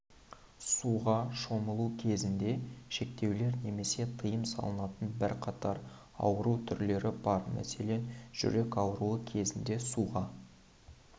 суға шомылу кезінде шектеулер немесе тыйым салынатын бірқатар ауру түрлері бар мәселен жүрек ауруы кезінде суға